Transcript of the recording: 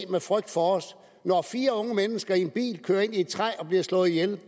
for os når fire unge mennesker i en bil kører ind i et træ og bliver slået ihjel